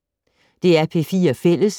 DR P4 Fælles